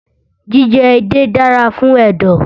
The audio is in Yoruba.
Jíjẹ edé dára fún ẹ̀dọ̀